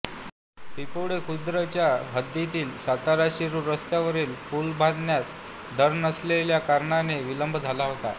पिंपोडे खुर्द च्या हद्दीतील सातारा शिरुर रस्त्यावरील पूल बांधण्यात धर नसलेल्या कारणाने विलंब झाला होता